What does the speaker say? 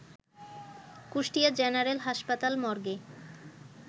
Kushtia general হাসপাতাল মর্গে